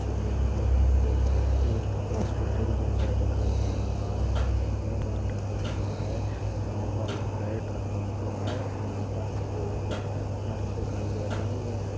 इस इमेज मे हमको एक होस्पिट्ल जैसा दिखाई दे रहा है जिसमे कूड़ेदान रखा हुआ है यहाँ पर एक बेड रखा हुआ है यहाँ पर हमको एक नर्स दिखाई दे रही है।